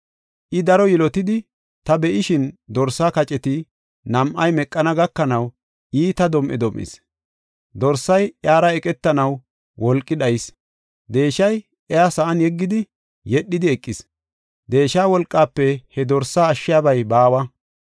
I, daro yilotidi, ta be7ishin, dorsaa kaceti nam7ay meqana gakanaw, iita dom7e dom7is. Dorsay iyara eqetanaw wolqi dhayis; deeshay iya sa7an yeggidi yedhidi eqis. Deesha wolqaafe he dorsa ashshiyabay baawa.